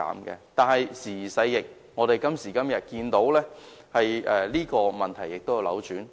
然而，時移世易，今時今日，這個問題已經逆轉。